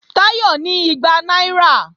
Táyọ̀ ní igba náírà